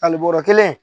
Ali bɔrɔ kelen